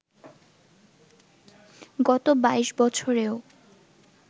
গত ২২ বছরেও